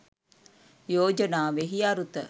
යෝජනාවෙහි අරුත